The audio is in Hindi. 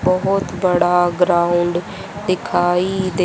बहोत बड़ा ग्राउंड दिखाई दे--